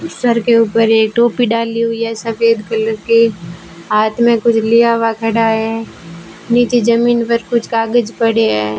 Sir के ऊपर एक टोपी डाली हुई है सफेद कलर की हाथ में कुछ लिया हुआ खड़ा है नीचे जमीन पर कुछ कागज पड़े है।